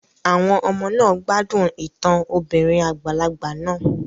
Àwọn ọmọ náà gbádùn ìtàn obìnrin àgbàlagbà náà